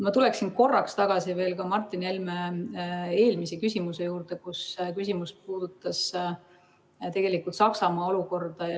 Ma tulen korraks tagasi Martin Helme eelmise küsimuse juurde, mis puudutas Saksamaa olukorda.